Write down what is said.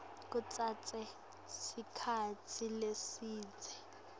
kutsatse sikhatsi lesidze